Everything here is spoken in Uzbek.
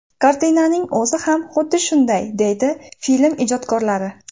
Kartinaning o‘zi ham xuddi shunaqa”, deydi film ijodkorlari.